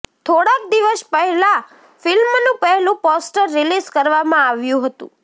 થોડાક દિવસ પહેલા ફિલ્મનું પહેલું પોસ્ટર રીલીઝ કરવામાં આવ્યું હતુ